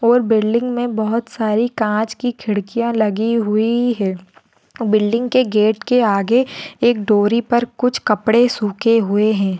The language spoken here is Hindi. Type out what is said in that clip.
और बिल्डिंग में बहुत सारी काँच की खिड़कियाँ लगी हुई है बिल्डिंग के गेट के आगे एक दोरी पर कुछ कपड़े सूखे हुए है।